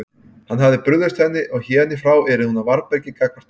Hann hafði brugðist henni og héðan í frá yrði hún á varðbergi gagnvart honum.